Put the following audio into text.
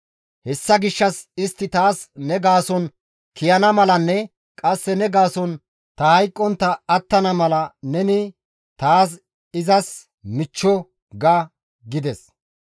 Hessa gishshas istti taas ne gaason kiyana malanne qasse ne gaason ta hayqqontta attana mala neni, ‹Ta izas michcho› ga» gides.